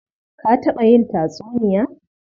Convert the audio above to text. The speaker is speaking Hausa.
Ka taɓa yin tatsuniya?